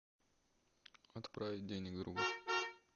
отправить денег другу